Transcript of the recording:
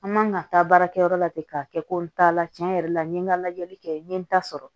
An man ka taa baarakɛyɔrɔ la ten k'a kɛ ko n t'a la tiɲɛ yɛrɛ la n ye n ka lajɛli kɛ n ye n ta sɔrɔ